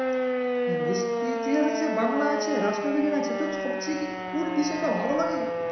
হ্যাঁ ওই ইতিহাস আছে বাংলা আছে রাষ্ট্রবিজ্ঞান আছে তো সবচেয়ে তোর কোন বিষয়টা ভালো লাগে